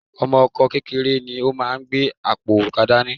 Ọmọ Ọkọ kékeré ni ó máa gbé apó òrùka dání